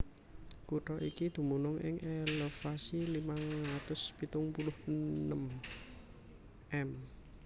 Kutha iki dumunung ing elevasi limang atus pitung puluh enem m